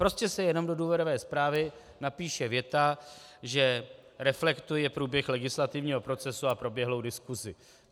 Prostě se jenom do důvodové zprávy napíše věta, že reflektuje průběh legislativního procesu a proběhlou diskusi.